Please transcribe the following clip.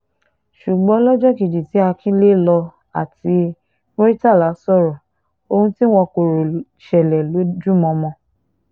ṣùgbọ́n lọ́jọ́ kejì tí akinlelo àti murtala sọ̀rọ̀ ohun tí wọn kò rò ṣẹlẹ̀ lójúmọmọ